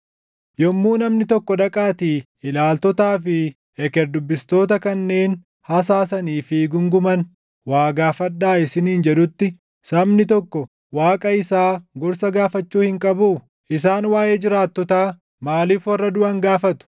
Yommuu namni tokko dhaqaatii ilaaltootaa fi eker dubbistoota kanneen hasaasanii fi guunguman waa gaafadhaa isiniin jedhutti sabni tokko Waaqa isaa gorsa gaafachuu hin qabuu? Isaan waaʼee jiraattotaa maaliif warra duʼan gaafatu?